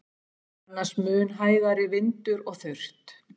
Annars mun hægari vindur og þurrt